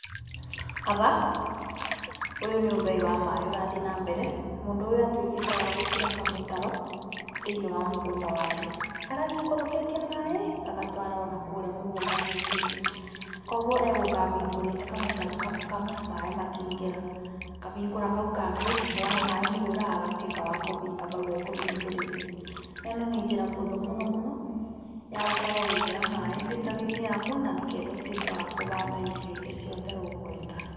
Haha, ũyũ nĩ ũbei wa maĩ ũrathiĩ na mbere, mũndũ ũyũ atuĩkĩte wa gũtura kamũtaro thĩinĩ wa mũgũnda wake, karathi gekũrũkĩtie maĩ gagatwara onakũrĩa mũgũnda mũicoinĩ. koguo egũka ehingũrĩte kamũtaro kamwe kamwe makingĩra, akahingũra kaũ kangĩ wona maĩ maiyũra agatuika wakũhinga haũ ekũhingũriire, na ĩno nĩ njĩra hũthũ mũno mũno yagũkorwo ũgĩkĩra maĩ mĩtaroinĩ yaku na nĩgetha ũtuĩke wa kũhanda irio irĩa ciothe ũkwenda.